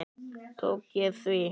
Tók ég því?